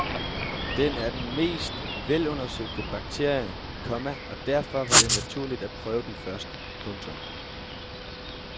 Den er den mest velundersøgte bakterie, komma og derfor var det naturligt at prøve den først. punktum